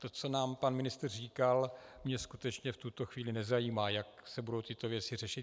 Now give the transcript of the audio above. To, co nám pan ministr říkal, mě skutečně v tuto chvíli nezajímá, jak se budou tyto věci řešit.